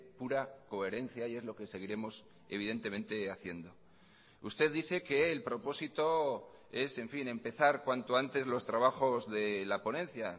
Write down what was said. pura coherencia y es lo que seguiremos evidentemente haciendo usted dice que el propósito es en fin empezar cuanto antes los trabajos de la ponencia